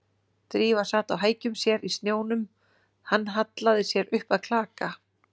Drífa sat á hækjum sér í snjónum, hann hallaði sér upp að klaka